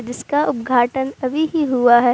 जिसका उद्घाटन अभी ही हुआ है।